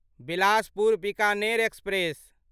Bilaspur Bikaner express